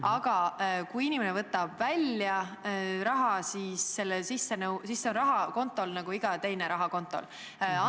Aga kui inimene võtab raha fondist välja, siis saab sellest kontol olev raha, mis on samasugune nagu iga muu kontol olev raha.